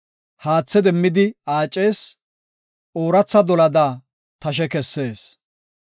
haathe demmidi aacees; ooratha dolada tashe kessees.